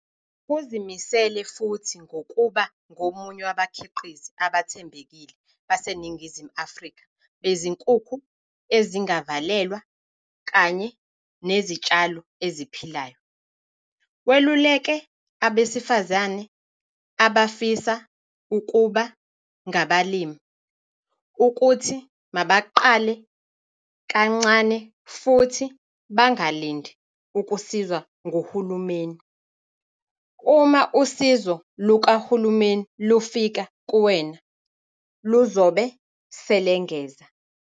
Uzimisele futhi ngokuba ngomunye wabakhiqizi abathembekile baseNingizimu Afrika bezinkukhu ezingavalelwa kanye nezitshalo eziphilayo. Weluleke abesifazane abafisa ukuba ngabalimi ukuthi mabaqale kancane futhi bangalindi ukusizwa nguhulumeni. "Uma usizo lukahulumeni lufika kuwena, luzobe selengeza."